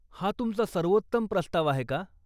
हा तुमचा सर्वोत्तम प्रस्ताव आहे का?